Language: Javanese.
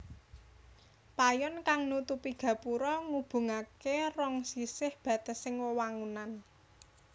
Payon kang nutupi gapura ngubungaké rong sisih batesing wewangunan